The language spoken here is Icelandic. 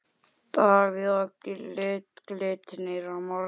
Davíð Og Glitnir á morgun.